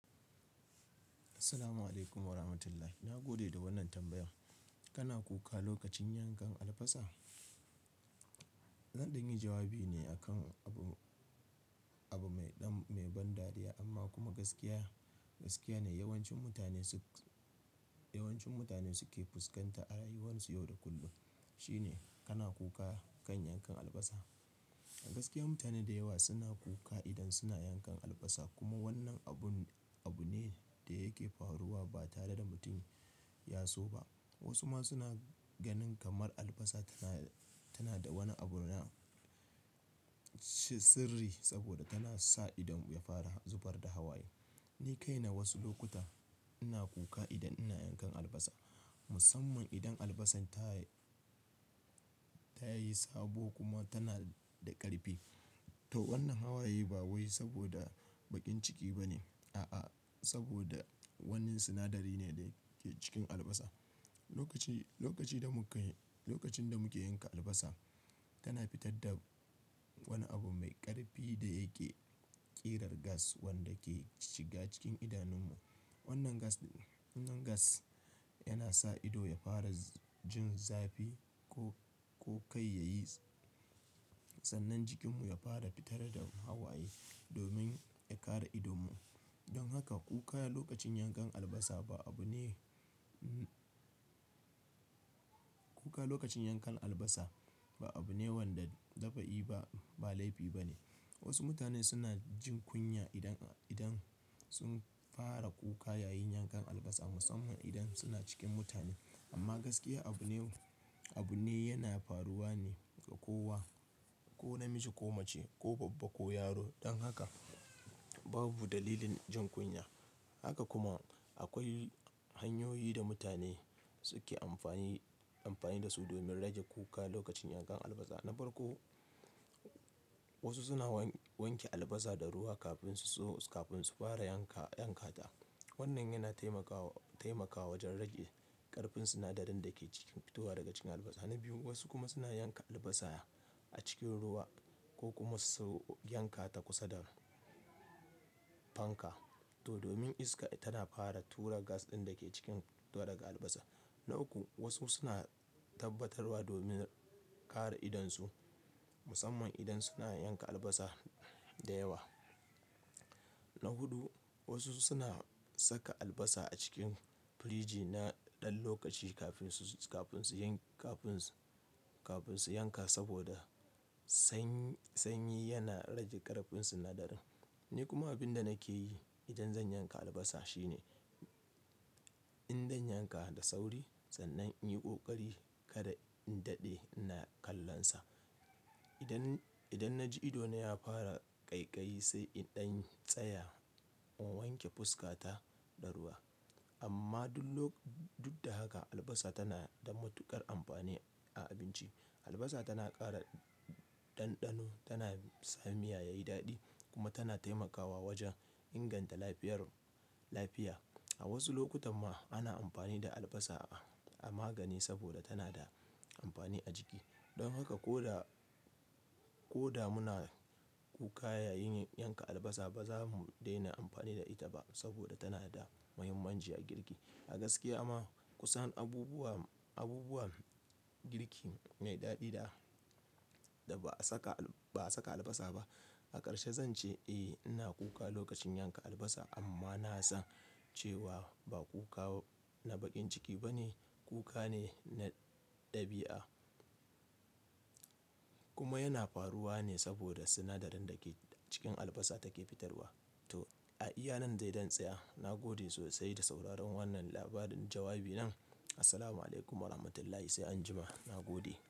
Assalamu'alaikum warahmatullahi. Na gode da wannan tambaya. Kana kuka lokacin yankan albasa? Zan dan yi jawabi ne akan abu, abu mai ban dariya amma kuma gaskiya. Gaskiya ne yawancin mutane suke fuskanta a rayuwarsu yau da kullum. Shi ne kana kuka kan yankan albasa? A gaskiya mutane da yawa suna kuka idan suna yankan albasa kuma wannan abun, abu ne da yake faruwa ba tare da mutum ya so ba. Wasu ma suna ganin kamar albasa tana, tana da wani abu na sirri saboda tana sa idon mu ya fara zubar da hawaye. Ni kaina wasu lokuta ina kuka idan ina yankan albasa, musamman idan albasan tayi sabo kuma tana da ƙarfi. To wannan hawaye ba wai saboda baƙin ciki ba ne. A'a, saboda wannan sinadari ne da ke cikin albasa lokaci da mukai. Lokacin da muke yanka albasa, tana fitar da wani abu mai ƙarfi da yake ƙirar gas wanda ke shiga cikin idanunmu. Wannan gas yana sa ido ya fara jin zafi ko kai yayi sannan jikinmu ya fara fitar da hawaye domin ya kare idanmu. Don haka kuka lokacin yankan albasa ba abu ne wanda dafa'i ba, ba laifi ba ne. Wasu mutane suna jin kunya idan sun fara kuka yayin yankan albasa musamman idan suna cikin mutane. Amma gaskiya abu ne, abu ne yana faruwa ne ga kowa, ko namiji ko mace ko babba ko yaro. Don haka babu dalilin jin kunya. Haka kuma akwai hanyoyi da mutane suke amfani da su domin rage kuka lokacin yankan albasa. Na farko, wasu suna wanke albasa da ruwa kafin su fara yanka ta. Wannan yana taimakawa wajen rage ƙarfin sinadarin da ke fitowa daga cikin albasa. Na biyu, wasu kuma suna yanka albasa a cikin ruwa ko kuma su yanka ta kusa da fanka to domin iska tana fara tura gas ɗin da ke cikin do daga albasa. Na uku, wasu suna tabbatarwa domin kare idonsu musamman idan suna yanka albasa da yawa. Na huɗu, wasu suna saka albasa a cikin firiji na ɗan lokaci kafin su yanka saboda sanyi yana rage ƙarfin sinadarin. Ni kuma abin da nake yi idan zan yanka albasa shine in danyanka da sauri sannan in yi ƙoƙari kada in daɗe na kallon sa. Idan na ji ido na ya fara ƙaiƙayi sai in dan tsaya in wanke fuska ta da ruwa. Amma duk da haka albasa tana da matuƙar amfani a abinci. Albasa tana ƙara ɗanɗano, tana sa miya yayi daɗi kuma tana taimakawa wajen inganta lafiyar lafiya. A wasu lokutan ma ana amfani da albasa a magani saboda tana da amfani a jiki. Don haka ko da muna kuka yayin yanka albasa ba za mu daina amfani da ita ba saboda tana da muhimmanci a girki. A gaskiya ma kusan abubuwan girki mai daɗi da ba a saka albasa ba. A ƙarshe zan ce eh ina kuka lokacin yanka albasa amma na san cewa ba kuka na baƙin ciki ba ne. Kuka ne na ɗabi'a kuma yana faruwa ne saboda sinadarin da ke cikin albasa take fitarwa. To a iya nan dai zan tsaya. Na gode sosai da sauraron wannan labarin jawabi nan. Assalamu'alaikum warahmatullahi sai anjima. Na gode.